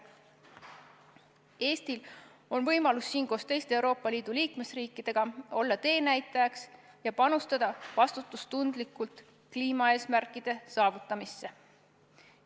Eestil on võimalus olla siin koos teiste Euroopa Liidu liikmesriikidega teenäitajaks ja panustada vastutustundlikult kliimaeesmärkide saavutamisse.